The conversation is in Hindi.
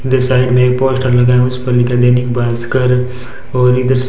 इधर साइड में ही पोस्टर लगा है जिस पर लिखा है दैनिक भास्कर और इधर--